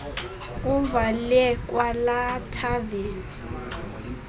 kuvalwe kwalaa thaveni